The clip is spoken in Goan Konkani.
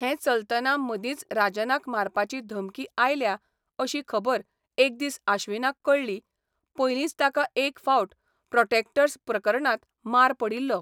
हें चलतना मदींच राजनाक मारपाची धमकी आयल्या अशी खबर एक दीस आश्विनाक कळ्ळी पयलींच ताका एक फावट प्रॉटॅक्टर्स प्रकरणांत मार पडिल्लो.